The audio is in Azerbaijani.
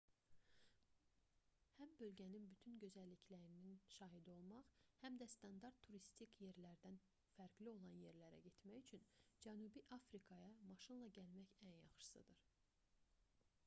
həm bölgənin bütün gözəlliyinin şahidi olmaq həm də standart turistik yerlərdən fərqli olan yerlərə getmək üçün cənubi afrikaya maşınla gəlmək ən yaxşısıdır